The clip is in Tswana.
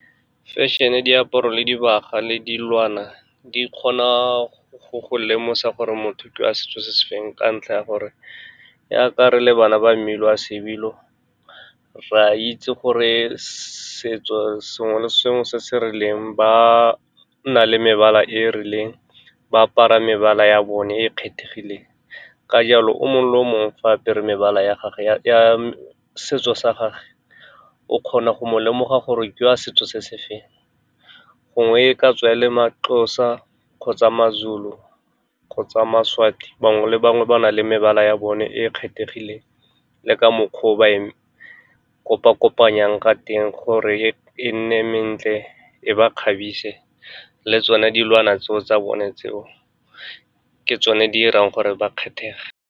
Fešene, diaparo, dibaga le dilwana di kgona go go lemosa gore motho ke wa setso se se feng ka ntlha ya gore, jaaka re le e bana ba mmala wa sebilo, re a itse gore setso sengwe le sengwe se se rileng ba nna le mebala e rileng. Ba apara mebala ya bone e e kgethegileng, ka jalo o mongwe le o mongwe fa a apere mebala ya setso sa gagwe, o kgona go mo lemoga gore ke wa setso se se feng. Gongwe e ka tswa e le maXhosa kgotsa maZulu kgotsa maSwati, bangwe le bangwe ba na le mebala ya bone e e kgethegileng, le ka mokgwa o ba e kopa-kopanyang ka teng gore e nne e mentle, e ba kgabise. Le tsone dilwana tseo tsa bone, tseo ke tsone di irang gore ba kgethege.